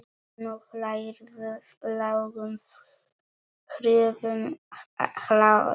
Nú hlærðu, lágum hrjúfum hlátri.